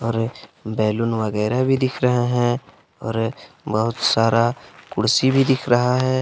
और बैलून वगैरा भी दिख रहा हैं और बहुत सारा कुर्सी भी दिख रहा है।